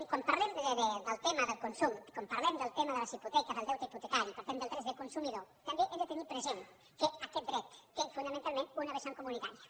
quan parlem del tema del consum quan parlem del tema de les hipoteques del deute hipotecari i parlem dels drets del consumidor també hem de tenir present que aquest dret té fonamentalment una vessant comunitària